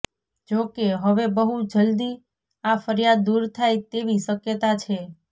જોકે હવે બહુ જલ્દી આ ફરિયાદ દુર થાય તેવી શકયતા છે